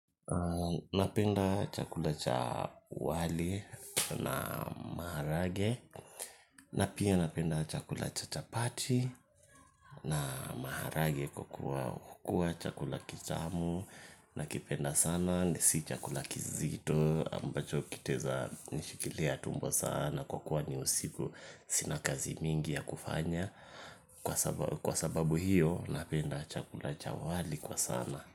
Napenda chakula cha wali na maharage na pia napenda chakula cha chapati na maharage kwa kuwa chakula kitamu nakipenda sana na si chakula kizito ambacho kitaeza nishikilia tumbo sana kwa kuwa ni usiku sina kazi mingi ya kufanya kwa sababu hiyo napenda chakula cha wali kwa sana.